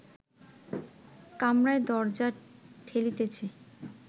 কামরায় দরজা ঠেলিতেছে